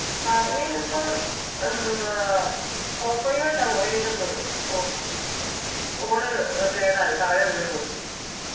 അളിയനിപ്പം എന്തുവാ പോപ്പോയിയോട്ടാ പോയേക്കുന്നത് ഫൊ phone കേടായി താഴെ വീണു പൊട്ടി